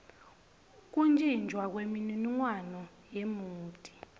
kuntjintjwa kwemininingwane yemoti